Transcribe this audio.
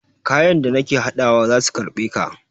Kayan da nake haɗawa za su karɓe ka.